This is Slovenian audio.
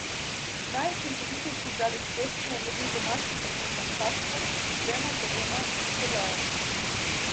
Najučinkovitejši igralec tekme je bil domači kapetan Hafner z dvema goloma in podajo.